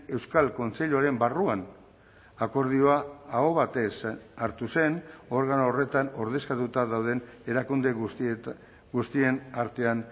euskal kontseiluaren barruan akordioa aho batez hartu zen organo horretan ordezkatuta dauden erakunde guztien artean